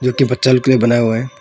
जो कि बच्चा लोग के लिए बनाया हुआ है।